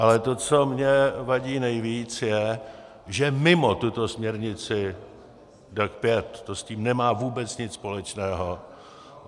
Ale to, co mně vadí nejvíc, je, že mimo tuto směrnici DAC 5 to s tím nemá vůbec nic společného.